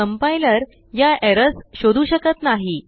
Compilerयाerrorsशोधू शकत नाही